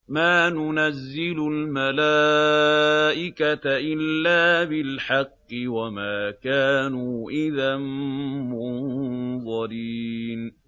مَا نُنَزِّلُ الْمَلَائِكَةَ إِلَّا بِالْحَقِّ وَمَا كَانُوا إِذًا مُّنظَرِينَ